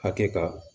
Hakɛ kan